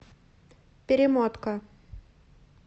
перемотка